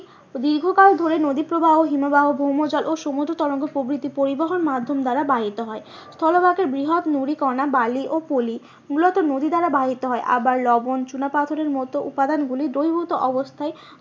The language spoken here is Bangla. দীর্ঘকাল ধরে নদী প্রবাহ হিমবাহ ভৌমজল ও সমুদ্র তরঙ্গ প্রভৃতি পরিবহন মাধ্যম দ্বারা বাহিত হয়। স্থল ভাগের বৃহৎ নুড়িকণা বালি ও পলি মূলত যদি দ্বারা বাহিত হয়। আবার লবন চুনা পাথরের মতো উপাদান গুলি দহির্ভূত অবস্থায়